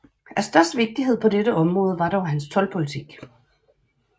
Af størst vigtighed på dette område var dog hans toldpolitik